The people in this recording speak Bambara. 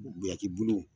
Biyankiw